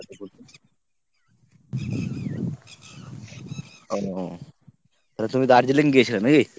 ও তালে তুমি দার্জিলিং গিয়েছিলে নাকি?